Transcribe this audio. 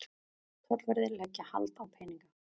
Tollverðir leggja hald á peninga